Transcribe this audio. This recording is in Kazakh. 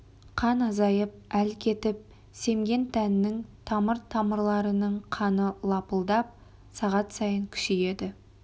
қан азайып әл кетіп семген тәннің тамыр-тамырларының қаны лыпылдап сағат сайын күшейеді